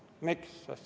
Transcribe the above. Miks?